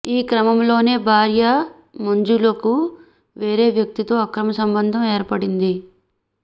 ఈ క్రమంలోనే భార్య మంజులకు వేరే వ్యక్తితో అక్రమ సంబంధం ఏర్పడింది